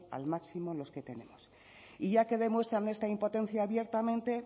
al máximo los que tenemos y ya que demuestran esta impotencia abiertamente